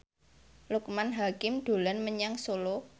Loekman Hakim dolan menyang Solo